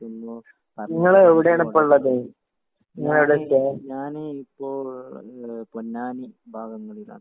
യൊന്നു പറഞ്ഞു തരാനാണ്. ഞാന് ഞാന് ഇപ്പൊ ഏഹ് പൊന്നാനി ഭാഗങ്ങളിലാണ്.